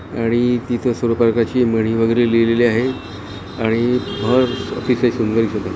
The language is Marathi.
आणि तिथे सुरूबगाची म्हणी वैगैरे लिहिले आहेत आणि घर तिथे सुंदर केलय.